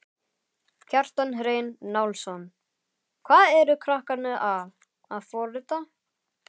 Kjartan Hreinn Njálsson: Hvað eru krakkarnir að, að forrita?